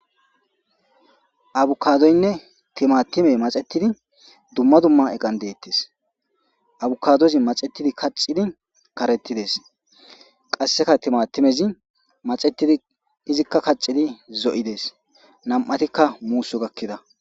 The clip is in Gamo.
abukadoynne timatime maxetidi dumma dumma eqan deettes abukadozi maxetidi kaccidi karetides qasseka timatimezi maxettidi izikka kaccidi zo7ides nam7atikka muuso gakkida